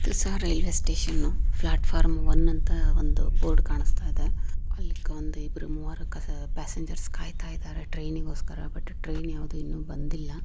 ಹೊಸ railway station platform one ಅಂತ ಒಂದು ಬೋರ್ಡ್ ಕಾಣಿಸ್ತಾ ಇದೆ ಆಹ್ಹ್ ಅಲ್ಲಿ ಅಲ್ಲಿ ಇಬ್ಬರು ಮುರ ಜನ ಕಾಯ್ತಾಯಿದಾರೆ ಟ್ರೈನ್ ಗೋಸ್ಕರ ಇನ್ನು ಯಾರು ಬಂದಿಲ್ಲಾ.